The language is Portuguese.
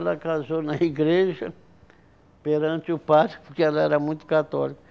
Ela casou na igreja perante o padre, porque ela era muito católica.